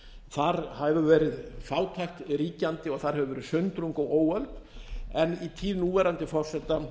þar hefur verið fátækt ríkjandi og þar hefur verið sundrung og óöld en í tíð núverandi forseta